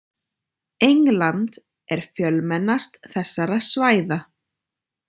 England er fjölmennast þessara svæða.